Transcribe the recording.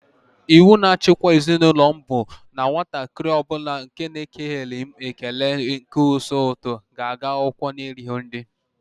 Iwu na-achikwa ezi n'ụlọ m bụ na nwatakịrị ọ bụla nke na-ekeleghị m ekele n'isi ụtụtụ ga-aga akwụkwọ n'erighị nri.